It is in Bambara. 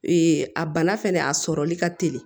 a bana fɛnɛ a sɔrɔli ka teli